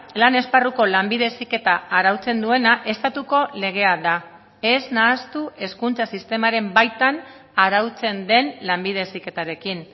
lan esparruko lanbide heziketa arautzen duena estatuko legea da ez nahastu hezkuntza sistemaren baitan arautzen den lanbide heziketarekin